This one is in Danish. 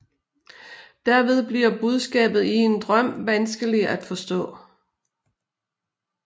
Derved bliver budskabet i en drøm vanskelig at forstå